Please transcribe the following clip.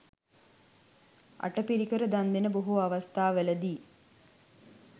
අටපිරිකර දන් දෙන බොහෝ අවස්ථාවලදී